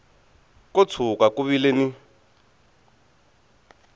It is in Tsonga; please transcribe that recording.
ko tshuka ku vile ni